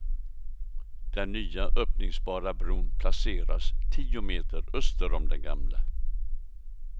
Den nya öppningsbara bron placeras tio meter öster om den gamla.